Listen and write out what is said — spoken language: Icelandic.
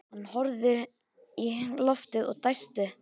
Hann horfði upp í loftið og dæsti.